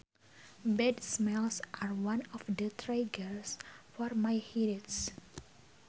Bad smells are one of the triggers for my headaches